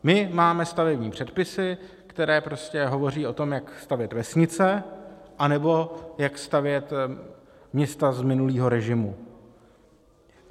My máme stavební předpisy, které prostě hovoří o tom, jak stavět vesnice anebo jak stavět města, z minulého režimu.